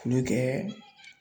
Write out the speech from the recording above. K'olu kɛ